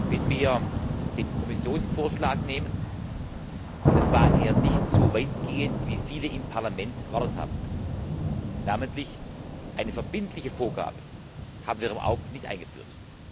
Wenn wir den Kommissionsvorschlag betrachten, dann war er nicht so weitgehend wie viele im Parlament erwartet haben Namentlich, eine verbindliche Vorgabe haben wir im Augenblick nicht eingeführt.